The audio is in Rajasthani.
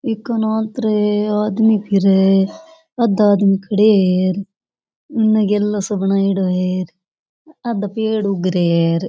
आदमी फिरे आधा आदमी खड़े है बनाइडो है आधा पेड़ उग रा है र।